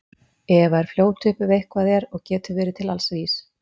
Eva er fljót upp ef eitthvað er og getur verið til alls vís.